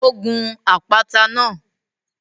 Ó gun àpáta náà